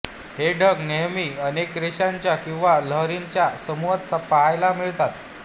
हे ढग नेहमी अनेक रेषांच्या किंवा लहरींच्या समूहात पाहायला मिळतात